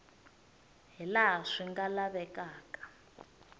hi laha swi nga lavekaka